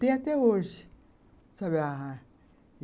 Tem até hoje, sabe a...